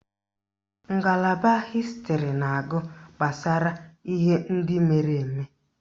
Ngalaba Hịstịrị na-agụ gbasara ihe ndị mere eme